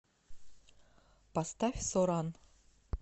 поставь соран